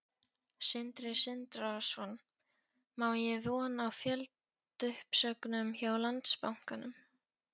Sindri Sindrason: Má eiga von á fjöldauppsögnum hjá Landsbankanum?